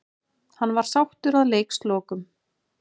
Hann var sáttur að leikslokum.